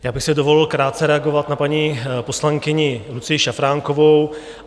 Já bych si dovolil krátce reagovat na paní poslankyni Lucii Šafránkovou.